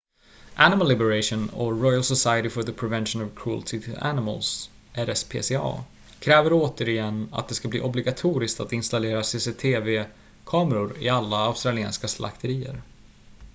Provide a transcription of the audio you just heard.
animal liberation och royal society for the prevention of cruelty to animals rspca kräver återigen att det ska bli obligatoriskt att installera cctv-kameror i alla australiensiska slakterier